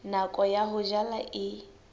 nako ya ho jala e